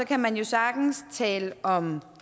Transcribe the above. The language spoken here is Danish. kan man jo sagtens tale om